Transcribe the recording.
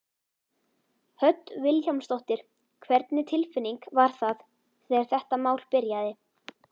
Hödd Vilhjálmsdóttir: Hvernig tilfinning var það þegar þetta mál byrjaði?